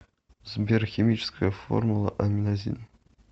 сбер химическая формула аминазин